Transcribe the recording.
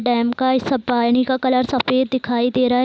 dam का इ सब पानी का कलर सफेद दिखाई दे रहा है |